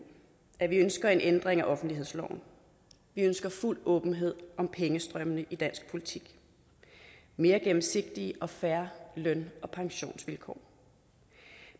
at vi ønsker en ændring af offentlighedsloven vi ønsker fuld åbenhed om pengestrømmene i dansk politik og mere gennemsigtige og fair løn og pensionsvilkår